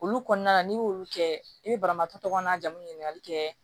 Olu kɔnɔna na n'i y'olu kɛ i bɛ banabaatɔ tɔgɔ jamu ɲinikali kɛ